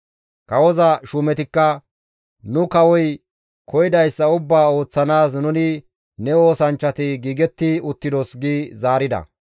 Kawoza shuumetikka, «Nu kawoy koyidayssa ubbaa ooththanaas nuni ne oosanchchati giigetti uttidos» gi zaarida.